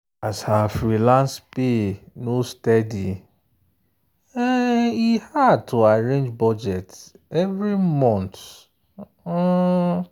as her freelance pay no steady um e hard to arrange budget every month. um